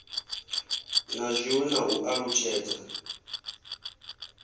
na zwiwe na u alutshedza